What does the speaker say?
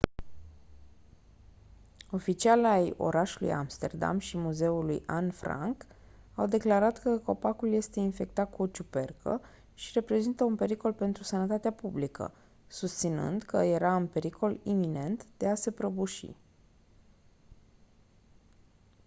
oficiali ai orașului amsterdam și ai muzeului anne franke au declarat că copacul este infectat cu o ciupercă și reprezintă un pericol pentru sănătatea publică susținând că era în pericol iminent de a se prăbuși